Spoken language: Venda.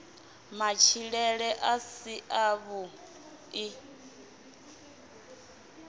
matshilele a si a vhui